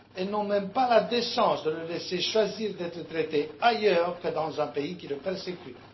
Elles n'ont même pas la décence de le laisser choisir d'être traité ailleurs que dans un pays qui le persécute.